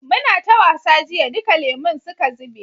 muna ta wasa jiya duka lemun suka zube